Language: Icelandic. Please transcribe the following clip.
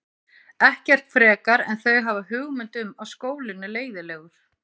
Ekkert frekar en þau hafa hugmynd um að skólinn er leiðinlegur.